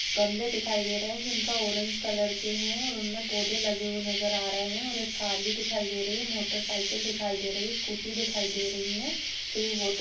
गमले दिखाई दे रहे हैं जिनका ऑरेंज कलर के है और उनमें पौधे लगे हुए नजर आ रहे हैं और एक कार भी दिखाई दे रही है मोटरसाइकिल दिखाई दे रही है स्कूटी दिखाई दे रही है फिर ये वोटर--